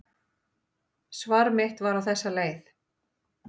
Svar mitt var á þessa leið: